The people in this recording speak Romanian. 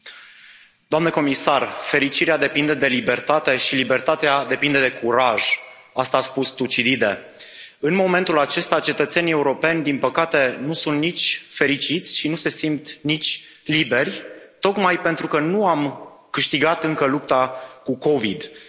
Domnule președinte, doamnă comisar, fericirea depinde de libertate și libertatea depinde de curaj asta a spus Tucidide. În momentul acesta, cetățenii europeni, din păcate, nu sunt nici fericiți și nu se simt nici liberi, tocmai pentru că nu am câștigat încă lupta cu COVID 19.